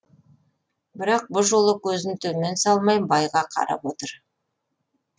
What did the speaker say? бірақ бұ жолы көзін төмен салмай байға қарап отыр